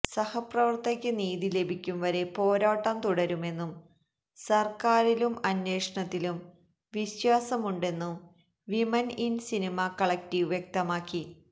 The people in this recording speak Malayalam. സഹപ്രവർത്തകയ്ക്ക് നീതി ലഭിക്കും വരെ പോരാട്ടം തുടരുമെന്നും സർക്കാരിലും അന്വേഷണത്തിലും വിശ്വാസമുണ്ടെന്നും വിമൻ ഇൻ സിനിമ കളക്ടീവ് വ്യക്തമാക്കി